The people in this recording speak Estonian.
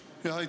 Aitäh!